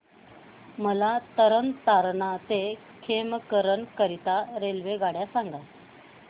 मला तरण तारण ते खेमकरन करीता रेल्वेगाड्या सांगा